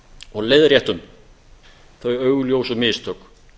og leiðréttum þau augljósu mistök